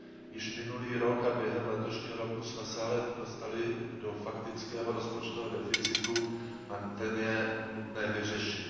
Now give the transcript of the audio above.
Již minulý rok a během letošního roku jsme se ale dostali do faktického rozpočtového deficitu a ten je nutné vyřešit.